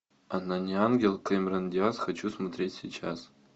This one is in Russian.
она не ангел кэмерон диаз хочу смотреть сейчас